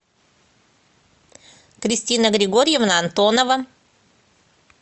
кристина григорьевна антонова